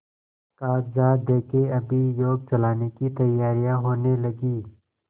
कागजात देखें अभियोग चलाने की तैयारियॉँ होने लगीं